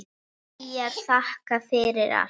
Hlýjar þakkir fyrir allt.